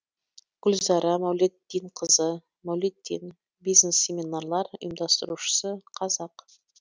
гүлзара мәулетдинқызы мәулетдин бизнес семинарлар ұйымдастырушысы қазақ